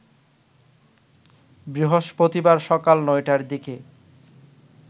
বৃহস্পতিবার সকাল ৯টার দিকে